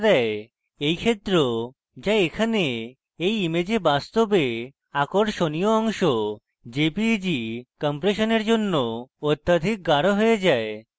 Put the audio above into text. এই ক্ষেত্র যা এখানে এই image বাস্তবে আকর্ষণীয় অংশ jpeg compression জন্য অত্যাধিক গাঢ় হয়ে যায়